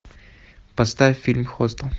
поставь фильм хостел